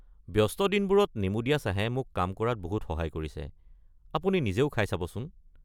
ব্যস্ত দিনবোৰত নেমু দিয়া চাহে মোক কাম কৰাত বহুত সহায় কৰিছে, আপুনি নিজেও খাই চাবচোন।